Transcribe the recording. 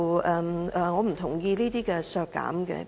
我不同意這些削減建議。